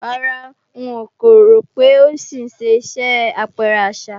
Rárá, ń kò rò pé ó ń ṣì ṣe iṣẹ́ àpẹrẹ àṣà